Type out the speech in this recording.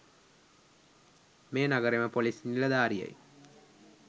මේ නගරෙම පොලිස් නිලධාරියයි.